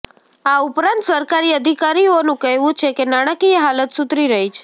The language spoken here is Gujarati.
આ ઉપરાંત સરકારી અધિકારીઓનું કહેવું છે કે નાણાંકીય હાલત સુધરી રહી છે